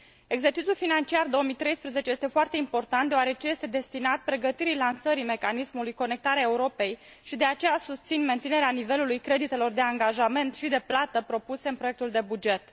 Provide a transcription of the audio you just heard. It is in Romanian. Exercițiul financiar 2013 este foarte important deoarece este destinat pregătirii lansării mecanismului Conectarea Europei și de aceea susțin menținerea nivelului creditelor de angajament și de plată propuse în proiectul de buget.